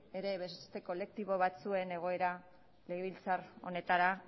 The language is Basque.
ere beste kolektibo batzuen egoera legebiltzar honetara